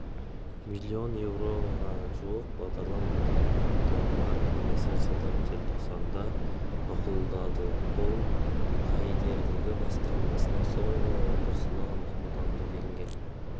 миллион еуроға жуық бағдарлама директорлар кеңесі жылдың желтоқсанында мақұлдады ол каирдегі басқармасының соңғы отырысында мақұлданды делінген